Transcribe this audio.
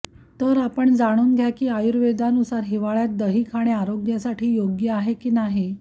तर आपण जाणून घ्या की आयुर्वेदानुसार हिवाळ्यात दही खाणे आरोग्यासाठी योग्य आहे की नाही